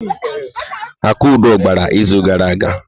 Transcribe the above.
Akudo gbara izu gara aga.